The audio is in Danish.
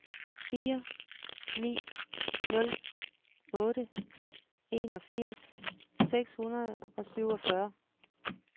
fire ni nul otte enogfirs seks hundrede og syvogfyrre